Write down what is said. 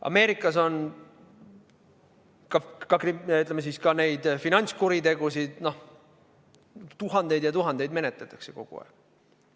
Ameerikas on, ütleme siis, ka finantskuritegusid tuhandeid, tuhandeid menetletakse kogu aeg.